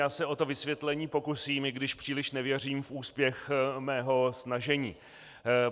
Já se o to vysvětlení pokusím, i když příliš nevěřím v úspěch svého snažení.